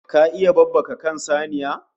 Ka iya babbaka kan saniya??